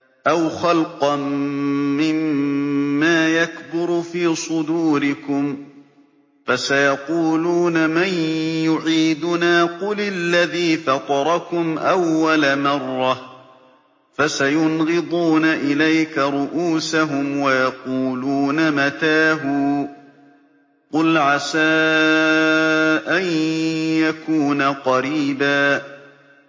أَوْ خَلْقًا مِّمَّا يَكْبُرُ فِي صُدُورِكُمْ ۚ فَسَيَقُولُونَ مَن يُعِيدُنَا ۖ قُلِ الَّذِي فَطَرَكُمْ أَوَّلَ مَرَّةٍ ۚ فَسَيُنْغِضُونَ إِلَيْكَ رُءُوسَهُمْ وَيَقُولُونَ مَتَىٰ هُوَ ۖ قُلْ عَسَىٰ أَن يَكُونَ قَرِيبًا